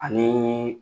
Ani